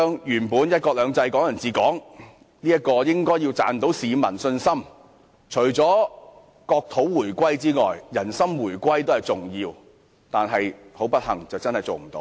"一國兩制"、"港人治港"本應可贏取市民信心，除了國土回歸外，人心回歸也很重要，但不幸地，這無法做到。